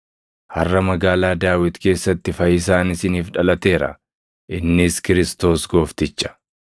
Harʼa magaalaa Daawit keessatti fayyisaan isiniif dhalateera; innis Kiristoos Goofticha.